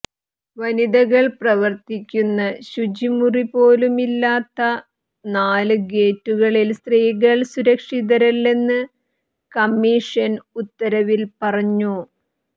വനിതകൾ പ്രവർത്തിക്കുന്ന ശുചിമുറി പോലുമില്ലാത്ത നാല് ഗേറ്റുകളിൽ സ്ത്രീകൾ സുരക്ഷിതരല്ലെന്ന് കമ്മീഷൻ ഉത്തരവിൽ പറഞ്ഞു